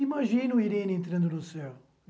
Imagina Irene entrando no céu.